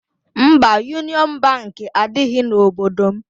Mba, Yunịọn Bankị adịghị n'obodo m.